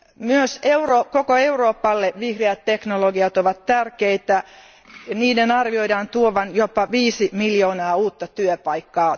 Myös koko Euroopalle vihreät teknologiat ovat tärkeitä, niiden arvioidaan tuovan jopa viisi miljoonaa uutta työpaikkaa.